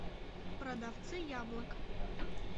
продавцы яблок